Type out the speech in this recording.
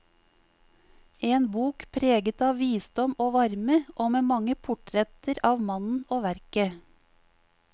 En bok preget av visdom og varme og med mange portretter av mannen og verket.